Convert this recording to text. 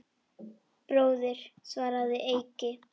Bróðir, svaraði Eiki.